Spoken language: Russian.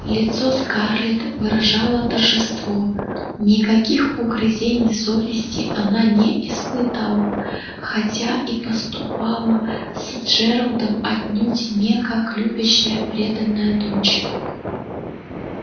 лицо скарлетт выражало торжество никаких угрызений совести она не испытала хотя и поступила с джералдом отнюдь не как любящая преданная дочь